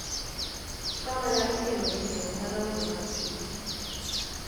Trauma nyalo kelo hinyruok madongo mag chuny,